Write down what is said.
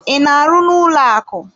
I na-arụ n'ụlọaku?